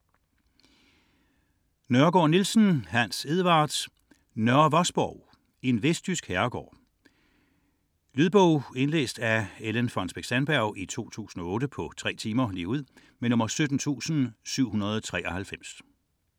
46.4 Nørre Vosborg Nørregård-Nielsen, Hans Edvard: Nørre Vosborg: en vestjysk herregård Lydbog 17793 Indlæst af Ellen Fonnesbech-Sandberg, 2008. Spilletid: 3 timer, 0 minutter.